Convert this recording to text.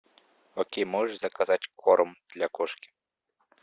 окей можешь заказать корм для кошки